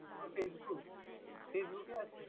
তোর facebook facebook এ আছে?